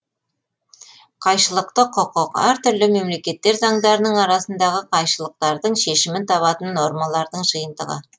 қайшылықты құқық әр түрлі мемлекеттер заңдарының арасындағы қайшылықтардың шешімін табатын нормалардың жиынтығы